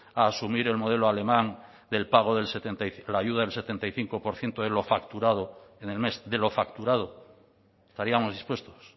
a asumir el modelo alemán del pago del la ayuda del setenta y cinco por ciento de lo facturado en el mes de lo facturado estaríamos dispuestos